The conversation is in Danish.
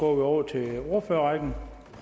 og regner